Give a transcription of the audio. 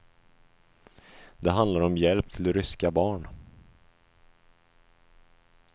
Det handlar om hjälp till ryska barn.